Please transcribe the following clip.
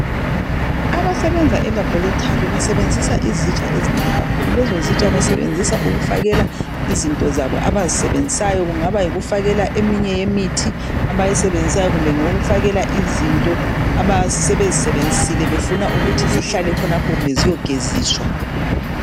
abasebenza e laboratory basebenzisa izitsha ezinengi kakhulu lezo zitsha basebenzisa ukufakela izinto zabo abazisebenzisayo kungaba yikufakela eminye yemithi abayisebenzasayo kumbe ngeyokufakela izinto abasebezisebenzisile befuna ukuthi zihlale khonapho kumbe ziyogeziswa